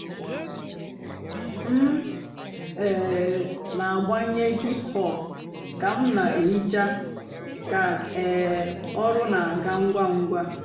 m um nà-àgbànyé hìp-hòp kà m nà-èhichá kà um ọ̀rụ́ nà-àgá ǹgwá ǹgwá.